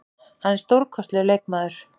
Hann er stórkostlegur leikmaður.